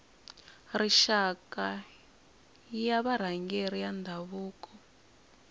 rixaka ya varhangeri va ndhavuko